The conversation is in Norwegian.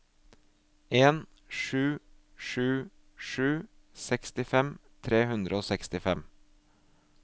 en sju sju sju sekstifem tre hundre og sekstifem